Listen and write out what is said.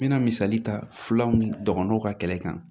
N bɛna misali ta fulaw dɔgɔnɔw ka kɛlɛ kan